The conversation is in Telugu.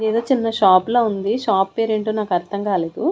ఇదేదో చిన్న షాప్ లా ఉంది షాప్ పేరేంటో నాకు అర్థం కాలేదు.